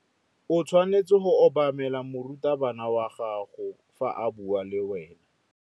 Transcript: O tshwanetse go obamela morutabana wa gago fa a bua le wena.